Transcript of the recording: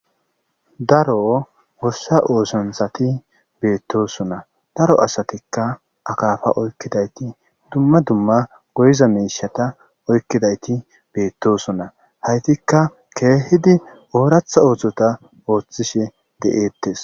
daro wossa oosonsati beettosona daro asatikka akaafa oykkidayti dumma dumma goyiza mishata oykkidayti beettosona haytikka keehidi ooratha ooththota ooththishe de7eettes